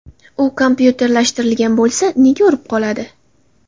U kompyuterlashtirilgan bo‘lsa... Nega urib qoladi?